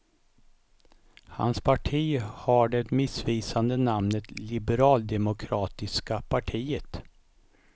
Hans parti har det missvisande namnet liberaldemokratiska partiet.